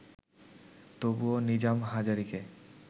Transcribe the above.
তবুও নিজাম হাজারীকে